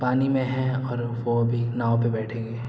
पानी में है और वो भी नाव पे बैठेंगे।